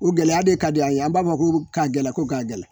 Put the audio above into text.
O gɛlɛya de ka di an ye an b'a fɔ ko ka gɛlɛn ko ka gɛlɛn